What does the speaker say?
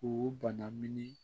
K'u bana min ni